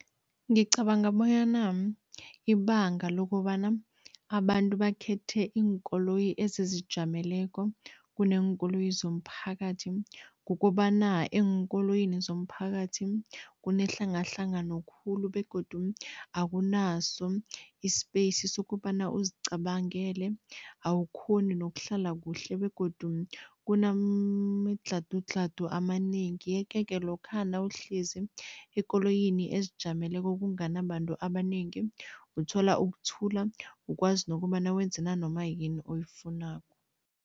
Ngicabanga bonyana ibanga lokobana abantu bakhethe iinkoloyi ezizijameleko kuneenkoloyi zomphakathi, kukobana eenkoloyini zomphakathi kunehlangahlangano khulu begodu akunaso i-space sokobana uzicabangele, awukghoni nokuhlala kuhle begodu kunemidlhadudlhadu amanengi yeke-ke lokha nawuhlezi ekoloyini ezijameleko kungani abantu abanengi, uthola ukuthula, ukwazi nokobana wenze nanoma yini oyifunako.